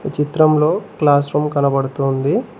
ఈ చిత్రంలో class room కనబడుతూ ఉంది.